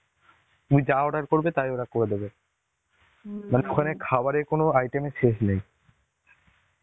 তুমি যা order করবে, তাই ওরা করে দেবে. মানে ওখানে খাবারের কোনো item এর শেষ নেই.